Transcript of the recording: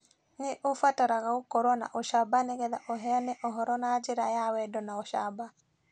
Nĩ ũbataraga gũkorũo na ũcamba nĩgetha ũheane ũhoro na njĩra ya wendo na ũcamba.